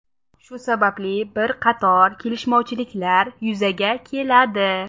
Shu sababli bit qator kelishmovchiliklar yuzaga keladi.